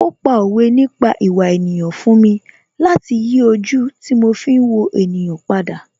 Ó pa òwe nípa ìwà ènìyàn fún mi láti yí ojú tí mo fi ń wo ènìyàn padà